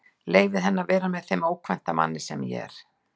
Leyfði henni að vera með þeim ókvænta manni sem ég er.